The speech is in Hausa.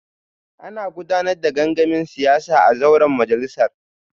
Ana gudanar da gangamin siyasa a zauren majalisar